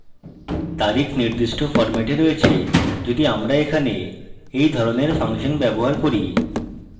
তারিখ নির্দিষ্ট ফরম্যাটে রয়েছে যদি আমরা এখানে we ধরণের ফাংশন ব্যবহার করি